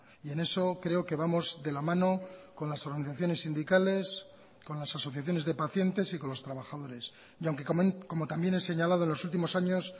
y en eso creo que vamos de la mano con las organizaciones sindicales con las asociaciones de pacientes y con los trabajadores y aunque como también he señalado en los últimos años